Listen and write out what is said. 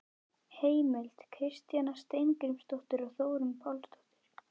Heimild: Kristjana Steingrímsdóttir og Þórunn Pálsdóttir.